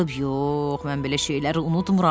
Yox, mən belə şeyləri unutmıram.